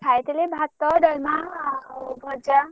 ଖାଇଥିଲି ଭାତ ଡାଲମା ଆଉ ଭଜା।